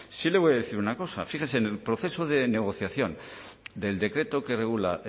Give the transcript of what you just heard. sí le voy a decir una cosa fíjese en el proceso de negociación del decreto que regula